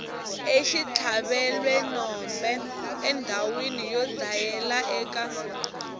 exitlhavelwenombe endhawina yo dlayela eka